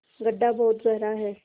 गढ्ढा बहुत गहरा है